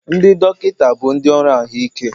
Ndị dọkịta bụ ndị ọrụ ahụike